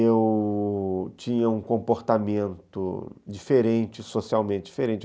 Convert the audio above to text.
Eu tinha um comportamento diferente, socialmente diferente.